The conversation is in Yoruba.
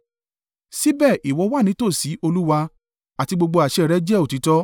Síbẹ̀ ìwọ wà ní tòsí, Olúwa, àti gbogbo àṣẹ rẹ jẹ́ òtítọ́.